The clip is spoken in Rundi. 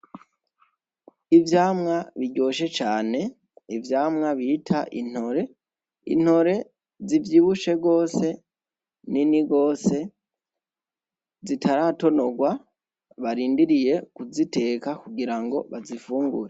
Ivyamwa biryoshe cane , ivyamwa bita intore , intore zivyibushe gose , zinini gose zitaratonorwa barindiriye kuziteka kugirango bazifungure.